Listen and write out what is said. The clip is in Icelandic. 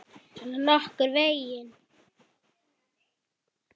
Svona nokkurn veginn.